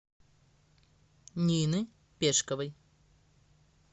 нины пешковой